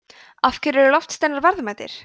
af hverju eru loftsteinar verðmætir